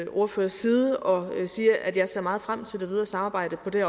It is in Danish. ordførers side og sige at jeg ser meget frem til det videre samarbejde på det